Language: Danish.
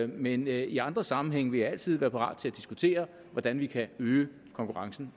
men i andre sammenhænge vil jeg altid være parat til at diskutere hvordan vi kan øge konkurrencen